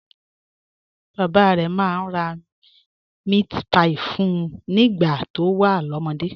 Bàbá rẹ̀ máa ń ra meatpie fún un nígbà tó wà lọ́mọdé